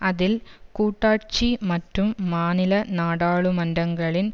அதில் கூட்டாட்சி மற்றும் மாநில நாடாளுமன்றங்களின்